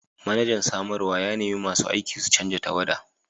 Manajan samarwa ya nemi masu aiki su canza tawada!